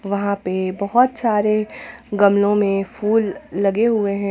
वहां पे बहोत सारे गमलों में फूल लगे हुए हैं।